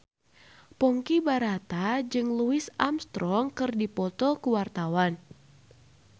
Ponky Brata jeung Louis Armstrong keur dipoto ku wartawan